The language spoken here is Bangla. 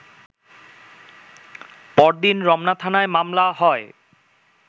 পরদিন রমনা থানায় মামলা হয়